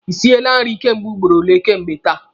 Ị siele nri kemgbe ugboro ole kemgbe taa?